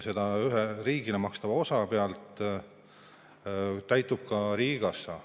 Selle ühe riigile makstava osa pealt täitub ka riigikassa.